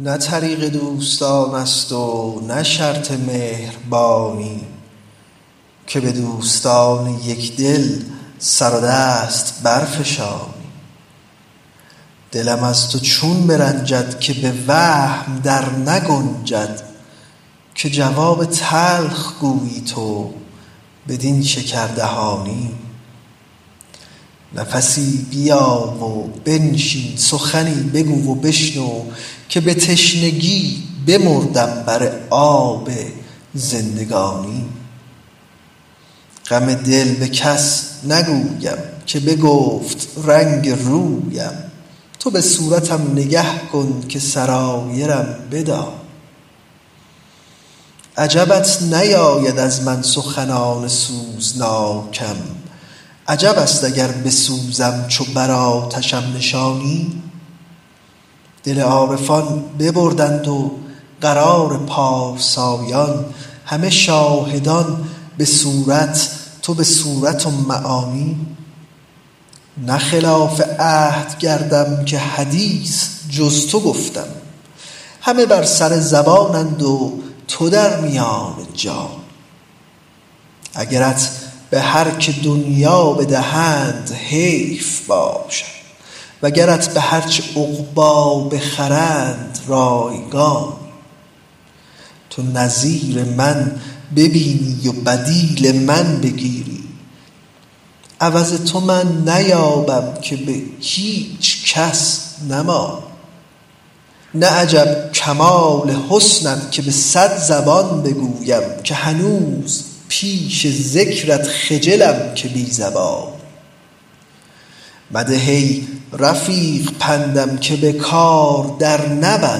نه طریق دوستان است و نه شرط مهربانی که به دوستان یک دل سر دست برفشانی دلم از تو چون برنجد که به وهم در نگنجد که جواب تلخ گویی تو بدین شکردهانی نفسی بیا و بنشین سخنی بگو و بشنو که به تشنگی بمردم بر آب زندگانی غم دل به کس نگویم که بگفت رنگ رویم تو به صورتم نگه کن که سرایرم بدانی عجبت نیاید از من سخنان سوزناکم عجب است اگر بسوزم چو بر آتشم نشانی دل عارفان ببردند و قرار پارسایان همه شاهدان به صورت تو به صورت و معانی نه خلاف عهد کردم که حدیث جز تو گفتم همه بر سر زبانند و تو در میان جانی اگرت به هر که دنیا بدهند حیف باشد وگرت به هر چه عقبی بخرند رایگانی تو نظیر من ببینی و بدیل من بگیری عوض تو من نیابم که به هیچ کس نمانی نه عجب کمال حسنت که به صد زبان بگویم که هنوز پیش ذکرت خجلم ز بی زبانی مده ای رفیق پندم که نظر بر او فکندم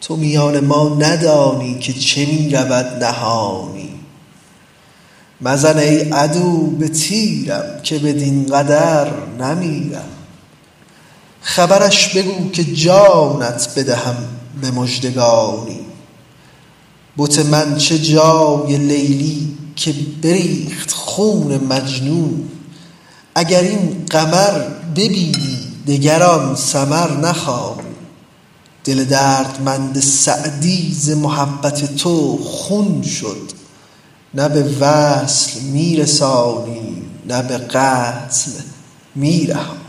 تو میان ما ندانی که چه می رود نهانی مزن ای عدو به تیرم که بدین قدر نمیرم خبرش بگو که جانت بدهم به مژدگانی بت من چه جای لیلی که بریخت خون مجنون اگر این قمر ببینی دگر آن سمر نخوانی دل دردمند سعدی ز محبت تو خون شد نه به وصل می رسانی نه به قتل می رهانی